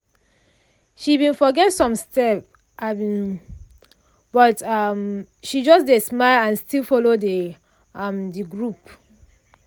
she bin forget some step um but um she just dey smile and still follow dey um de group.